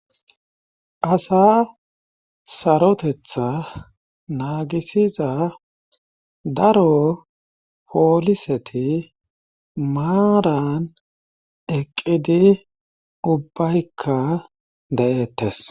asa sarotetha naagisiza daro pooliseti maaran eqqidi ubbaykka de7eettes